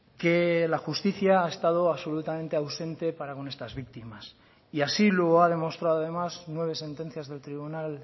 que la justicia ha estado absolutamente ausente para con estas víctimas y así lo ha demostrado además nueve sentencias del tribunal